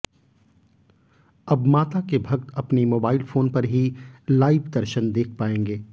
अब माता के भक्त अपने मोबाइल फोन पर ही लाइव दर्शन देख पाएंगे